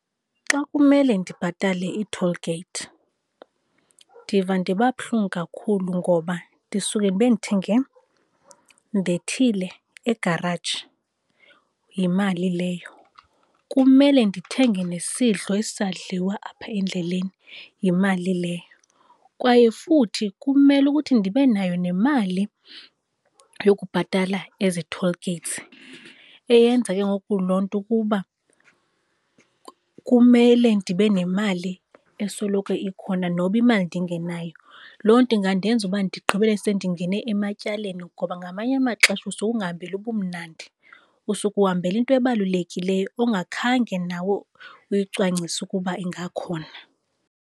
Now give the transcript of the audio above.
Xa kumele ndibhatale ii-toll gate ndiva ndiba buhlungu kakhulu ngoba ndisuke ndibe ndithenge, ndethile egaraji. Yimali leyo, kumele ndithenge nesidlo esizadliwa apha endleleni, yimali leyo. Kwaye futhi kumele ukuthi ndibe nayo nemali yokubhatala ezi toll gates eyenza ke ngoku loo nto ukuba kumele ndibe nemali esoloko ikhona noba imali ndingenayo. Loo nto ingandenza uba ndigqibele sendingene ematyaleni ngoba ngamanye amaxesha usuka ungahambeli ubumnandi, usuke uhambela into ebalulekileyo ongakhange nawe uyicwangcise ukuba ingakhona.